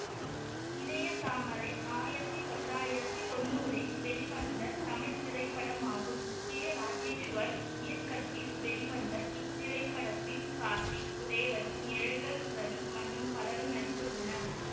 இதய தாமரை ஆயிரத்தி தொள்ளாயிரத்தி தொன்னூறில் வெளிவந்த தமிழ் திரைப்படமாகும் கே ராஜேஸ்வர் இயக்கத்தில் வெளிவந்த இத்திரைப்படத்தில் கார்த்திக் ரேவதி நிழல்கள் ரவி மற்றும் பலரும் நடித்துள்ளனர்